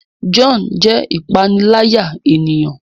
John jé ìpaniláyà ènìyàn